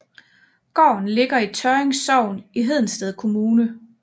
Gården ligger i Tørring Sogn i Hedensted Kommune